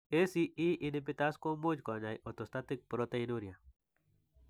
ACE inhibitors komuch kony'aay orthostatic proteinuria.